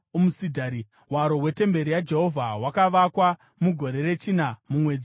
Hwaro hwetemberi yaJehovha hwakavakwa mugore rechina, mumwedzi waZivhi.